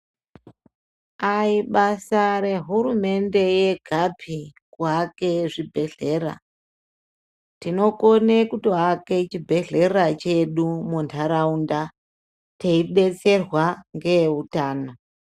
Aibasa rehurumende yegapi kuake zvibhedhlera. Tinokone kutoake chibhedhlera chedu muntaraunda teibetserwa ngeeutano.